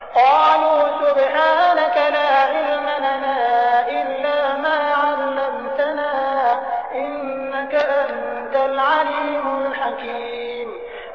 قَالُوا سُبْحَانَكَ لَا عِلْمَ لَنَا إِلَّا مَا عَلَّمْتَنَا ۖ إِنَّكَ أَنتَ الْعَلِيمُ الْحَكِيمُ